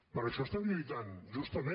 per això estem lluitant justament